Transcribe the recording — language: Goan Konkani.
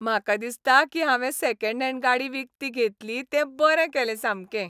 म्हाका दिसता की हांवें सॅकॅंड हॅंड गाडी विकती घेतली तें बरें केलें सामकें.